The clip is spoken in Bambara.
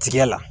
Tiriya la